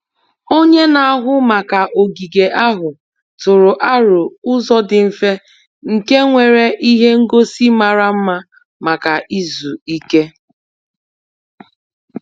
Onye na-ahụ maka ogige ahụ tụrụ aro ụzọ dị mfe nke nwere ihe ngosi mara mma maka izu ike.